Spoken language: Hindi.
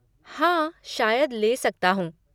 हाँ, शायद ले सकता हूँ।